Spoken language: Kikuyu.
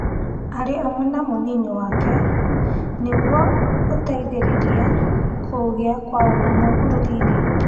arĩ hamwe na mũnini wake, nĩguo gũteitherĩria kũgĩa kwa ũrũmwe bũrũri-inĩ.